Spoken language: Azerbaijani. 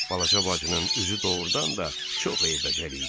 Balaca bacının üzü doğrudan da çox eybəcər idi.